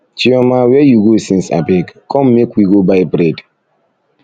chioma where you go since abeg come make we go buy bread